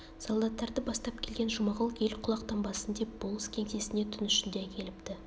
солдаттарды бастап келген жұмағұл ел құлақтанбасын деп болыс кеңсесіне түн ішінде әкеліпті